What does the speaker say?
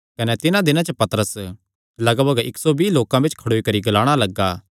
कने तिन्हां दिनां च पतरस लगभग इक्क सौ बिआं लोकां बिच्च खड़ोई करी ग्लाणा लग्गा